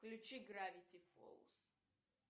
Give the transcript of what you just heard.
включи гравити фолс